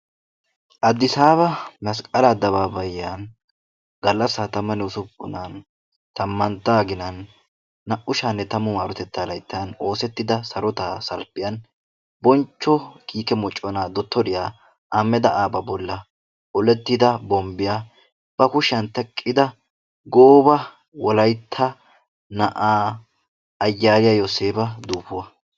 adissaba masqqala adababbayiya galassa 16nan tammantta aginan 2010 maroteta oosetida sarota salppiyaan bonchcho kiike moccona bollan olettida bombbiyaa ba kushiyaa gooba wolaytta na'aa ayyaliya yoosseppa duufuwaa.